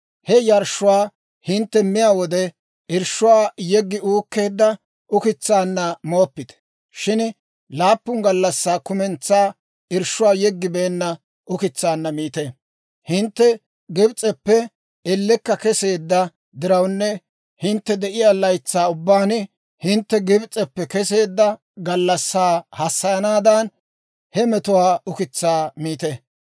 He yarshshuwaa hintte miyaa wode, irshshuwaa yeggi uukkeedda ukitsaanna mooppite; shin laappun gallassaa kumentsaa irshshuwaa yeggibeenna ukitsaanna miite. Hintte Gibs'eppe ellekka keseedda dirawunne hintte de'iyaa laytsaa ubbaan hintte Gibs'eppe keseedda gallassaa hassayanaadan, he metuwaa ukitsaa miite.